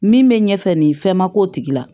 Min bɛ ɲɛfɛ nin fɛn ma k'o tigila